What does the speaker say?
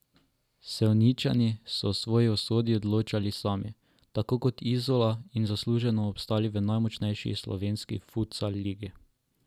Sevničani so o svoji usodi odločali sami, tako kot Izola in zasluženo obstali v najmočnejši slovenski futsal ligi.